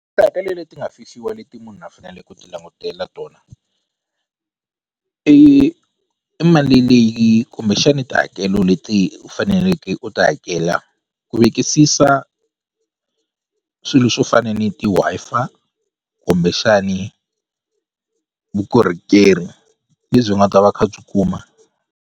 Tihakelo leti nga fihliwa leti munhu a fanele ku ti langutela tona i i mali leyi kumbexani tihakelo leti u faneleke u ti hakela ku vekisisa swilo swo fana ni ti-Wi-Fi kumbexani vukorhokeri lebyi nga ta va kha byi kuma.